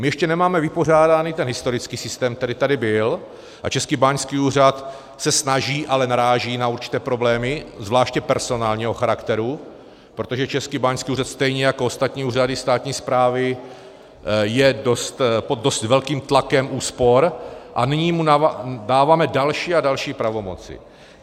My ještě nemáme vypořádaný ten historický systém, který tady byl, a Český báňský úřad se snaží, ale naráží na určité problémy, zvláště personálního charakteru, protože Český báňský úřad stejně jako ostatní úřady státní správy je pod dost velkým tlakem úspor a nyní mu dáváme další a další pravomoce.